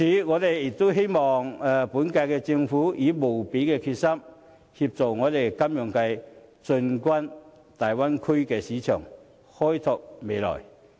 我希望本屆政府能以無比的決心，協助金融界進軍大灣區市場，開創未來。